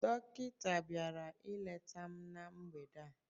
Dọkịta bịara ileta m na mgbede a